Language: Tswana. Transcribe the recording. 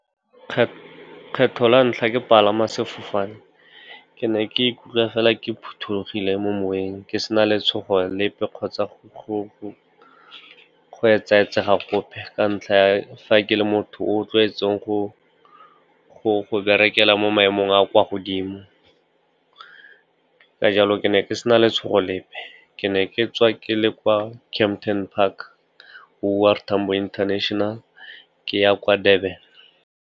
Kgetlho la ntlha ke palama sefofane, ke ne ke ikutlwa fela ke phothulogile mo moweng, ke sena letshogo lepe kgotsa go etsa-etsaga gope. Ka ntlha ya fa ke le motho o tlwaetseng go berekela mo maemong a a kwa godimo, ka jalo ke ne ke se na letshogo lepe. Ke ne ke tswa ke le kwa Kempton Park, O R Tambo International, ke ya kwa Durban.